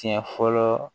Siɲɛ fɔlɔ